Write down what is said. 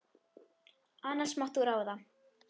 annars mátt þú ráða.